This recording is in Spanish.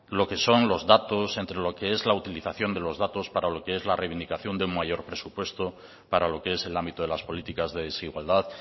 lo que son los datos entre lo que es la utilización de los datos para lo que es la reivindicación de un mayor presupuesto para lo que es el ámbito de las políticas de desigualdad